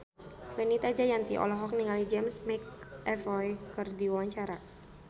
Fenita Jayanti olohok ningali James McAvoy keur diwawancara